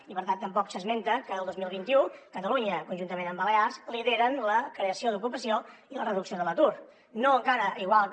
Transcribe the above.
i per tant tampoc s’esmenta que el dos mil vint u catalunya conjuntament amb balears lideren la creació d’ocupació i la reducció de l’atur no encara igual que